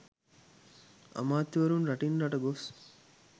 අමාත්‍යවරුන් රටින් රට ගොස්